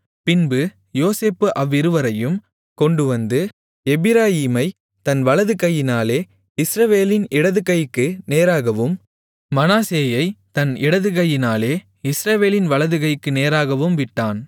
பின்பு யோசேப்பு அவ்விருவரையும் கொண்டுவந்து எப்பிராயீமைத் தன் வலது கையினாலே இஸ்ரவேலின் இடது கைக்கு நேராகவும் மனாசேயைத் தன் இடது கையினாலே இஸ்ரவேலின் வலது கைக்கு நேராகவும் விட்டான்